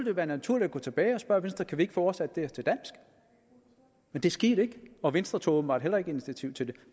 jo være naturligt at gå tilbage og spørge venstre kan vi ikke få oversat det her til dansk men det skete ikke og venstre tog åbenbart heller ikke initiativ til det